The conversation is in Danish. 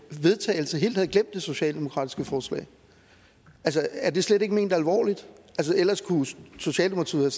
vedtagelse helt havde glemt det socialdemokratiske forslag altså er det slet ikke ment alvorligt ellers kunne socialdemokratiet